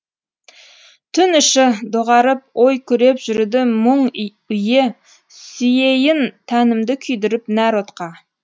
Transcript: түн іші доғарып ой күреп жүруді мұң үйе сүйейін тәнімді күйдіріп нәр отқа